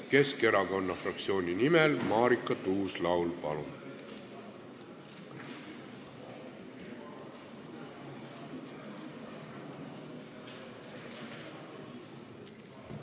Keskerakonna fraktsiooni nimel Marika Tuus-Laul, palun!